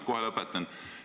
Kohe lõpetan.